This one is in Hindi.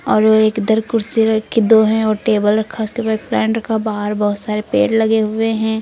और ओ एक इधर कुर्सी रखी दो हैं और टेबल रखा उसके पे एक पेड़ रखा बाहर बहोत सारे पेड़ लगे हुए हैं।